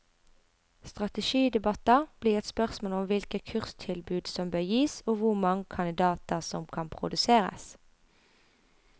Strategidebatter blir et spørsmål om hvilke kurstilbud som bør gis og hvor mange kandidater som kan produseres.